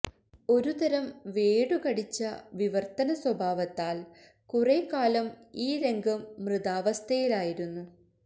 ഒരുതരം വേടു കടിച്ച വിവര്ത്തന സ്വഭാവത്താല് കുറെക്കാലം ഈ രംഗം മൃതാവസ്ഥയിലായിരുന്നു